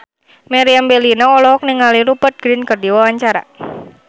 Meriam Bellina olohok ningali Rupert Grin keur diwawancara